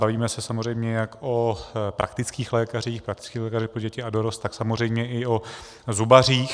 Bavíme se samozřejmě jak o praktických lékařích, praktických lékařích pro děti a dorost, tak samozřejmě i o zubařích.